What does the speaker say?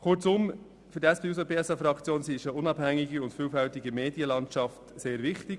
Zusammengefasst: Für die SP-JUSO-PSA-Fraktion ist eine unabhängige und vielfältige Medienlandschaft sehr wichtig.